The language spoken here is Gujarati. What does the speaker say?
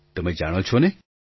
તમે જાણો છો ને